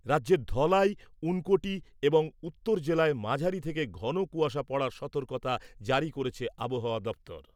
রাজ্যের ধলাই , ঊনকোটি এবং উত্তর জেলায় মাঝারি থেকে ঘন কুয়াশা পড়ার সতর্কতা জারি করেছে আবহাওয়া দপ্তর।